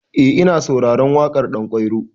Eh ina sauraren waƙar Ɗanƙwairo.